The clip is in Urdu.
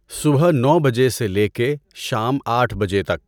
صبح نو بجے سے لے کے شام آٹھ بجے تک